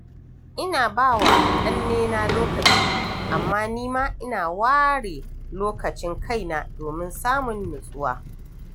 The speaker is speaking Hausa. Ina ba wa ƙannena lokaci, amma ni ma ina ware lokacin kaina domin samun natsuwa.